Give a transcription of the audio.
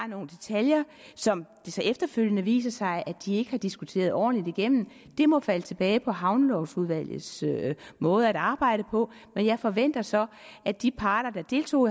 nogle detaljer som det så efterfølgende viser sig at de ikke har diskuteret ordentligt igennem det må falde tilbage på havnelovudvalgets måde at arbejde på men jeg forventer så at de parter der deltog